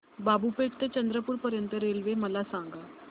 बाबूपेठ ते चंद्रपूर पर्यंत रेल्वे मला सांगा